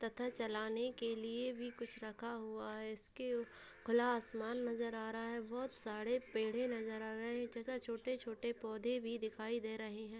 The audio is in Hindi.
तथा चलाने के लिए भी कुछ रखा हुआ है | इसके उ खुला आसमान नजर आ रहा है बहुत सारे पेड़ें नजर आ रहे हैं | इस जगह छोटे छोटे पौधे भी दिखाई दे रहे हैं |